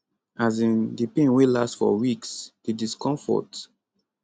um di pain wey last for weeks di discomfort